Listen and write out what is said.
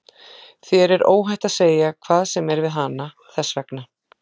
Þér er óhætt að segja hvað sem er við hana, þess vegna.